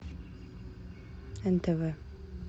нтв